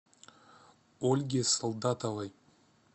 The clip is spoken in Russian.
ольге солдатовой